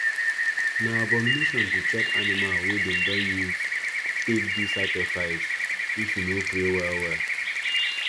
na abomination to chop animal wey them don use take do sacrifice if you no pray well well